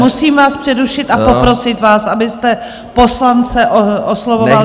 Musím vás přerušit a poprosit vás, abyste poslance oslovoval...